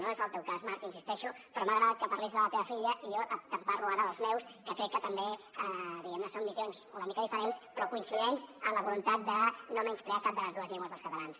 no és el teu cas marc hi insisteixo però m’ha agradat que parlis de la teva filla i jo et parlo ara dels meus que crec que també diguem ne són visions una mica diferents però coincidents en la voluntat de no menysprear cap de les dues llengües dels catalans